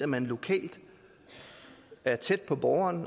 man lokalt er tæt på borgeren